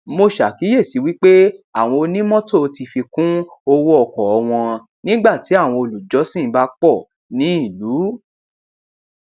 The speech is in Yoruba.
mo ṣàkíyèsí wí pé àwọn onímọtò ti fi kún owó ọkọ wọn nígbàtí àwọn olùjọsìn bá pọ ní ìlú